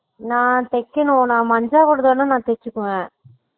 நான் தெக்கனும் நான் மஞ்சு ஓடதுனா தெச்சுக்குவேன்